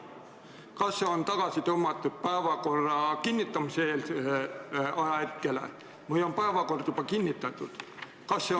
Kas ta on tagasi tõmmatud päevakorra kinnitamise eelsele ajahetkele või on päevakord juba kinnitatud?